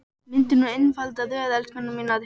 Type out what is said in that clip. Myndið nú einfalda röð, elskurnar mínar.